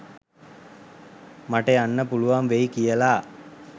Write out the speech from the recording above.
මට යන්න පුළුවන් වෙයි කියලා.